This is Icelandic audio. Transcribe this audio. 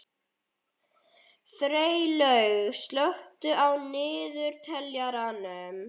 Freylaug, slökktu á niðurteljaranum.